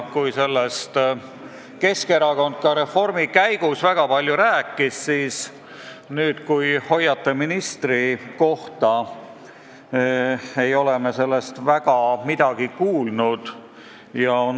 Kuigi Keskerakond rääkis sellest kõigest reformi käigus väga palju, siis nüüd, kui teil on ministrikoht, ei ole me sellest enam eriti midagi kuulnud.